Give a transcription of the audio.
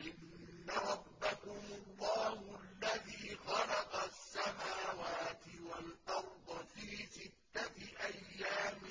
إِنَّ رَبَّكُمُ اللَّهُ الَّذِي خَلَقَ السَّمَاوَاتِ وَالْأَرْضَ فِي سِتَّةِ أَيَّامٍ